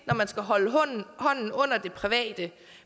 når man skal holde hånden under det private